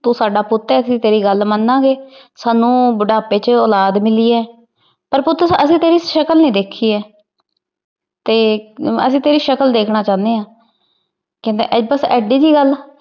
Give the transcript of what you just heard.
ਤੂੰ ਸਾਡਾ ਪੁੱਤ ਐ ।ਅਸੀਂ ਤੇਰੀ ਗੱਲ ਮੰਨਾਗੇ। ਸਾਨੂੰ ਬੁਢਾਪੇ ਚ ਔਲਾਦ ਮਿਲੀ ਏ। ਪਰ ਪੁੱਤ ਅਸੀਂ ਤੇਰੀ ਛਕਲ ਨੀ ਦੇਖੀ ਏ ਤੇ ਅਸੀ ਤੇਰੀ ਛਕਲ ਦੇਖਣਾ ਚਾਹੁਦੇ ਆ ਕਹਿੰਦਾ ਬੱਸ ਐਡੀ ਜੀ ਗੱਲ?